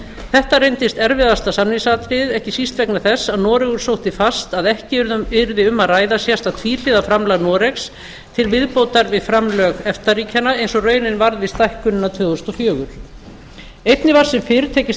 þetta reyndist erfiðasta samningsatriðið ekki síst vegna þess að noregur sótti fast að ekki yrði um að ræða sérstakt tvíhliða framlag noregs til viðbótar við framlög efta ríkjanna eins og raunin varð við stækkunina tvö þúsund og fjögur einnig var sem fyrr tekist